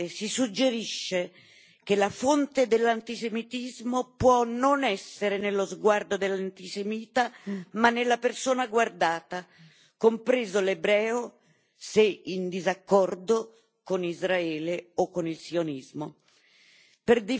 Insidiosamente si suggerisce che la fonte dell'antisemitismo può non essere nello sguardo dell'antisemita, ma nella persona guardata, compreso l'ebreo, se in disaccordo con Israele o con il sionismo.